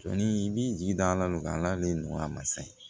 Sɔni i b'i ji da ala deli a ma sa